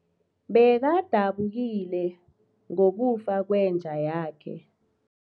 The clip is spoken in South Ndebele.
Bekadabukile ngokufa kwenja yakhe.